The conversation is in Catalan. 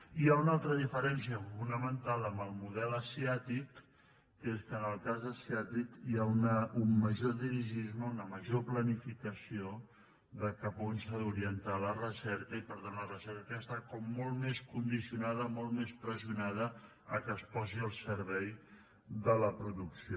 i hi ha una altra diferència fonamental amb el model asiàtic que és que en el cas asiàtic hi ha un major dirigisme una major planificació de cap on s’ha d’orientar la recerca i per tant la recerca està com molt més condicionada molt més pressionada perquè es posi al servei de la producció